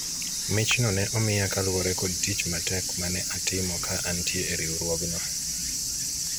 michno ne omiya kaluwore kod tich matek mane atimo ka antie e riwruogno